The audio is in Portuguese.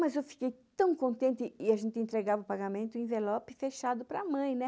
Mas eu fiquei tão contente e a gente entregava o pagamento em envelope fechado para mãe, né?